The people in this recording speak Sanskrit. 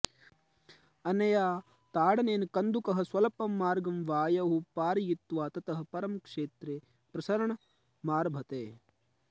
अनया ताडनेन कन्दुकः स्वल्पं मार्गं वायौ पारयित्वा ततः परं क्षेत्रे प्रसरणमारभते